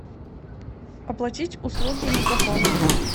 оплатить услуги мегафон